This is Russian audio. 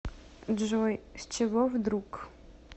джой с чего вдруг